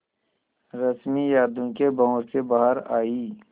रश्मि यादों के भंवर से बाहर आई